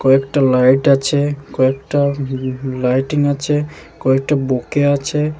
কয়েকটা লাইট আছে কয়েকটা হুম উম লাইটিং আছে কয়েকটা বোকে আছে।